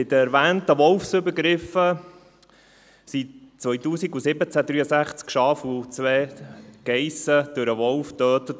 Bei den erwähnten Wolfsübergriffen wurden im Jahr 2017 63 Schafe und 2 Geissen durch einen Wolf getötet.